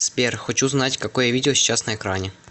сбер хочу знать какое видео сейчас на экране